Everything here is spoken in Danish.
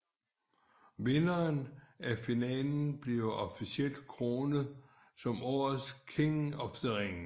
Vinderen af finalen bliver officielt kronet som årets King of the Ring